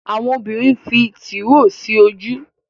Àwọn obìrin nfí Tìróò sí ojú.